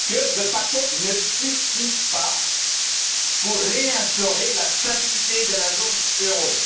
Il a dit que le paquet ne suffisait pas pour réinstaurer la stabilité de la zone euro.